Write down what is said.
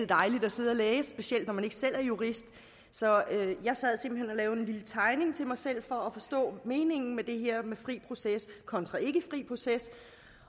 dejligt at sidde og læse specielt når man ikke selv er jurist så jeg sad simpelt hen og lavede en lille tegning til mig selv for at forstå meningen med det her om fri proces kontra ikke fri proces